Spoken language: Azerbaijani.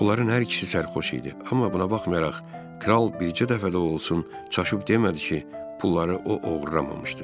Onların hər ikisi sərxoş idi, amma buna baxmayaraq Kral bircə dəfə də olsun çaşıb demədi ki, pulları o oğurlamamışdı.